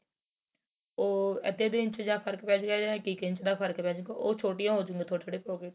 ਓ ਅੱਧੇ ਅੱਧੇ ਇੰਚ ਦਾ ਫ਼ਰਕ ਪੈਜੇ ਗਾ ਜਾਂ ਇੱਕ ਇੱਕ ਇੰਚ ਦਾ ਫ਼ਰਕ ਪੈ ਜੇ ਗਾ ਉਹ ਛੋਟੀਆਂ ਹੋ ਜਾਣਗੀਆਂ ਥੋੜੀ ਥੋੜੀ pocket